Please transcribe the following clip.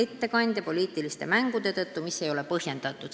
Seda poliitiliste mängude tõttu, mis ei ole üldse mitte põhjendatud.